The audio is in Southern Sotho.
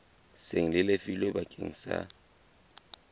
seng le lefilwe bakeng sa